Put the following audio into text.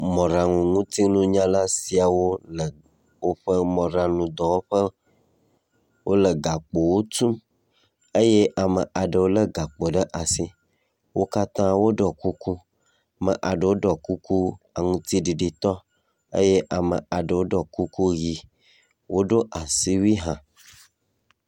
mɔɖanu ŋutiŋunyala siawo le woƒe mɔɖaŋu dɔwɔƒe wóle gakpowo tum eye amaɖewo le gakpo ɖe asi wókatã wóɖɔ kuku ame aɖewo ɖɔ kuku aŋtiɖiɖi tɔ eye ame aɖewo ɖó kuku yi woɖó asiwui hã